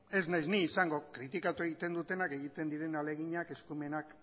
ez naiz ni izango kritikatu egiten dutena egiten diren ahaleginak eskumenak